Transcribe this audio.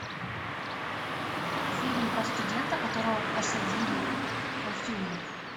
фильм про студента которого посадили в тюрьму